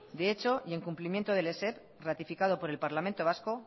de hecho y en cumplimiento del esep ratificado por el parlamento vasco